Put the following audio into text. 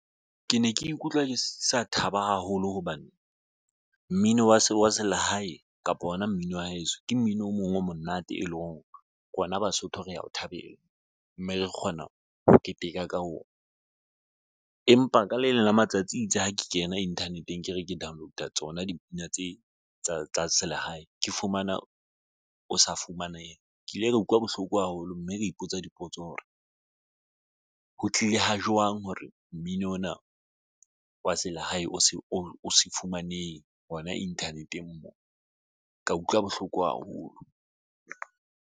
Ke ne ke ikutlwa ke sa thaba haholo hobane mmino wa selehae kapa ona mmino wa heso, ke mmino o mong o monate, e leng hore rona Basotho re ya o thabela mme re kgona ho keteka ka ona, empa ka le leng la matsatsi itse ha ke kena internet-eng ke re ke download-a tsona dipina tse tsa selehae ke fumana o sa fumanehe ke ile ka utlwa bohloko haholo, mme kea ipotsa dipotso hore ho tlile ha jwang hore mmino ona wa selehae o se o fumaneng hona internet-eng, moo ka utlwa bohloko haholo.